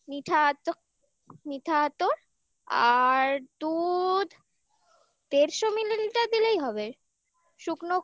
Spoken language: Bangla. মিঠা আত মিঠা আতর আর দুধ দেড়শো মিলিলিটার দিলেই হবে শুকনো